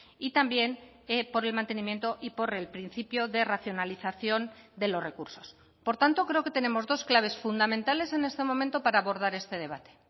y también por el mantenimiento y por el principio de racionalización de los recursos por tanto creo que tenemos dos claves fundamentales en este momento para abordar este debate